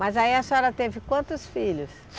Mas aí a senhora teve quantos filhos?